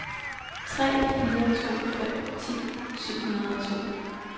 tre fire to fem ti syv hundrede og to